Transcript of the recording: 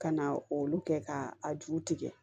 Ka na olu kɛ ka a ju tigɛ